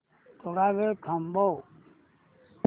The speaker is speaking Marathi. थोडा वेळ थांबव